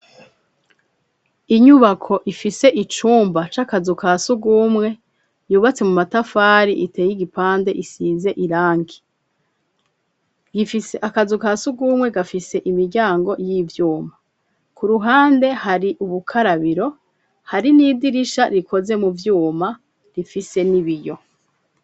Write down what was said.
Inyubako ifise icumba c'akazu ka sugumwe yubatse mu matafari iteye igipande isize irangi, gifise akazu ka siugumwe gafise imiryango y'ivyuma, ku ruhande hari ubukarabiro hari n'idirisha rikoze mu vyuma rifise n’ibiyo.